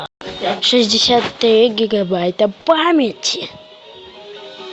шестьдесят три гигабайта памяти